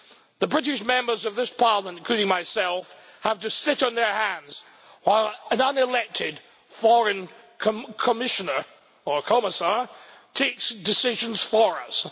The British members of this Parliament including myself have to sit on their hands while an unelected foreign Commissioner or Commissar takes decisions for us.